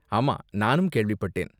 ஆமா, நானும் கேள்விப்பட்டேன்.